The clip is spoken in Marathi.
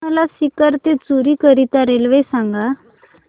मला सीकर ते चुरु करीता रेल्वे सांगा